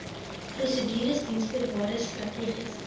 prosedures diensvoorwaardes strategiese